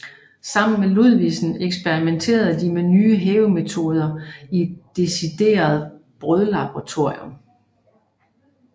Sammen med Ludvigsen eksperimenterede de med nye hævemetoder i et decideret brødlaboratorium